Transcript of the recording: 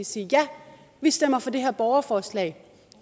sige ja vi stemmer for det her borgerforslag